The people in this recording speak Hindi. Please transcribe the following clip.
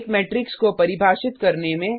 एक मेट्रिक्स को परिभाषित करने में